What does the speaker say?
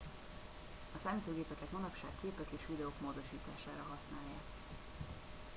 a számítógépeket manapság képek és videók módosítására használják